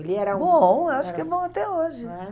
Ele era um... Bom, acho que é bom até hoje. Não é?